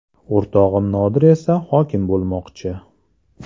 O‘rtog‘im Nodir esa hokim bo‘lmoqchi.